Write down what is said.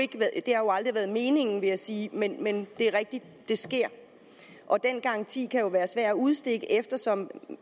aldrig været meningen vil jeg sige men men det er rigtigt at det sker og den garanti kan jo være svær at udstede eftersom